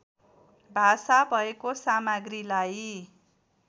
भाषा भएको सामग्रीलाई